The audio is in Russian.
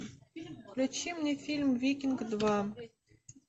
включи мне фильм викинг два